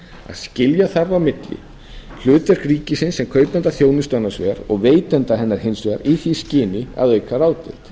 skilja þarf á milli hlutverks ríkisins sem kaupanda þjónustu annars vegar og veitanda hennar hins vegar í því skyni að auka ráðdeild